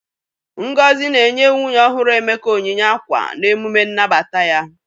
Ngozi na-enye nwunye ọhụrụ Emeka onyinye ákwà n'emume nnabata ya.